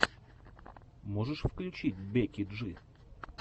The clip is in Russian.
можешь включить бекки джи